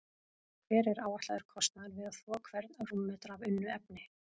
Hver er áætlaður kostnaður við að þvo hvern rúmmetra af unnu efni?